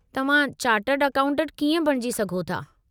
तव्हां chartered accountant कीअं बणिजी सघो था?